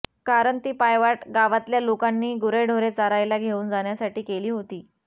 कारण ती पायवाट गावातल्या लोकांनी गुरेढोरे चरायला घेऊन जाण्यासाठी केली होती